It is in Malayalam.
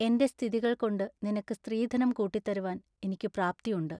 എന്റെ സ്ഥിതികൾകൊണ്ടു നിനക്കു സ്ത്രീധനം കൂട്ടിത്തരുവാൻ ഇനിക്കു പ്രാപ്തിയുണ്ട്.